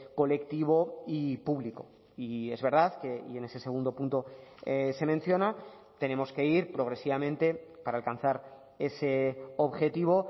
colectivo y público y es verdad que y en ese segundo punto se menciona tenemos que ir progresivamente para alcanzar ese objetivo